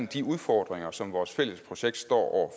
de udfordringer som vores fælles projekt står